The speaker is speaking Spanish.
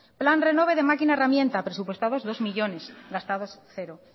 plan renove de máquina herramienta presupuestados dos millónes gastados cero